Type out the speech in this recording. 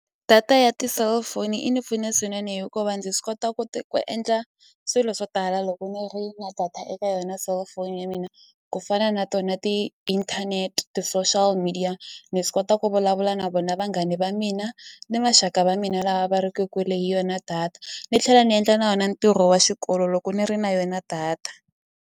Data ya ti-cellphone yi ni pfune swinene hikuva ndzi swi kota ku ku endla swilo swo tala loko ni ri na data eka yona cellphone ya mina ku fana na tona ti-internet ti-social media ni swi kota ku vulavula na vona vanghani va mina ni maxaka va mina lava va ri ke kule hi yona data ni tlhela ni endla na wona ntirho wa xikolo loko ni ri na yona data.